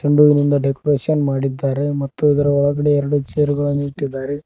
ಚೆಂಡು ಹೂವಿನಿಂದ ಡೆಕೋರೇಷನ್ ಮಾಡಿದ್ದಾರೆ ಮತ್ತು ಇದರ ಒಳಗಡೆ ಎರಡು ಚೇರುಗಳನ್ನು ಇಟ್ಟಿದ್ದಾರೆ.